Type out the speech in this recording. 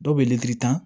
Dɔw bɛ litiri tan